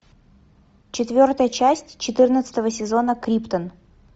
четвертая часть четырнадцатого сезона криптон